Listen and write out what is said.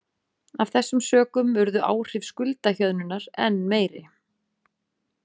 Af þessum sökum urðu áhrif skuldahjöðnunar enn meiri.